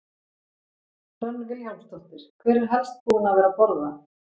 Hödd Vilhjálmsdóttir: Hver er helst búinn að vera að borða?